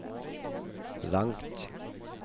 langt